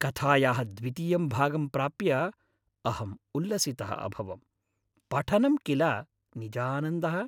कथायाः द्वितीयं भागं प्राप्य अहं उल्लसितः अभवम्। पठनं किल निजानन्दः।